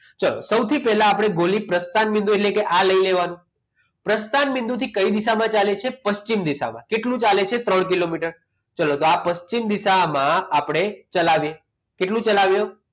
ચાલો સૌથી પહેલા આપણે ગોલીનું પ્રસ્થાન બિંદુથી કઈ દિશામાં ચાલે છે પશ્ચિમ દિશામાં કેટલું ચાલે છે ત્રણ કિલોમીટર ચલો તો આ પશ્ચિમ દિશામાં આપણે ચલાવીએ કેટલું ચલાવીએ